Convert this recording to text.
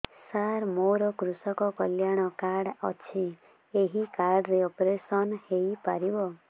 ସାର ମୋର କୃଷକ କଲ୍ୟାଣ କାର୍ଡ ଅଛି ଏହି କାର୍ଡ ରେ ଅପେରସନ ହେଇପାରିବ